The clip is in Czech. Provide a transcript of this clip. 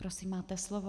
Prosím, máte slovo.